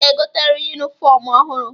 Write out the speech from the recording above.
Ị ga-egoteriri yunifọmụ ọhụrụ.